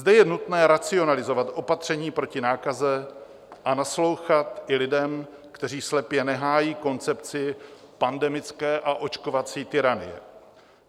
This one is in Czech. Zde je nutné racionalizovat opatření proti nákaze a naslouchat i lidem, kteří slepě nehájí koncepci pandemické a očkovací tyranie.